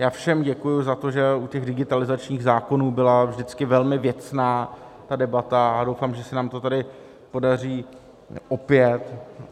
Já všem děkuji za to, že u těch digitalizačních zákonů byla vždycky velmi věcná debata, a doufám, že se nám to tady podaří opět.